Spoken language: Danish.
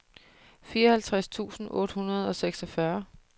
fireoghalvtreds tusind otte hundrede og seksogfyrre